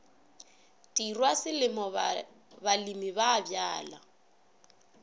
tirwa selemo balemi ba bjala